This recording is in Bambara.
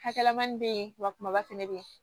Hakɛmani bɛ yen wa kumaba fɛnɛ bɛ yen